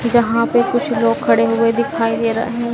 यहां पे कुछ लोग खड़े हुए दिखाई दे रहा है।